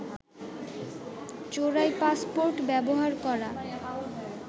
চোরাই পাসপোর্ট ব্যবহার করা